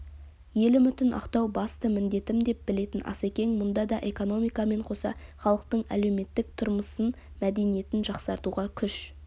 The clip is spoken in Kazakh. ел үмітін ақтау басты міндетім деп білетін асекең мұнда да экономикамен қоса халықтың әлеуметтік тұрмыссын мәдениетін жақсартуға күш